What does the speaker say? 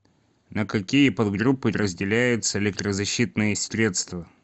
на какие подгруппы разделяются электрозащитные средства